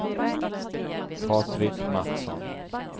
Patrik Mattsson